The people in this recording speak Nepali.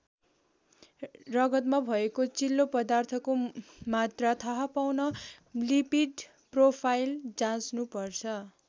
रगतमा भएको चिल्लो पदार्थको मात्रा थाहा पाउन लिपिड प्रोफाइल जाँच्नु पर्छ।